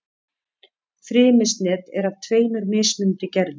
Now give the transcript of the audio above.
Frymisnet er af tveimur mismunandi gerðum.